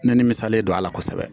N ni misalen don ala kosɛbɛ